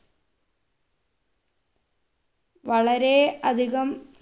വളരെ അധികം